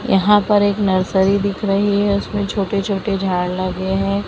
यहां पर एक नर्सरी दिख रही है उसमें छोटे छोटे झाड़ लगे हैं।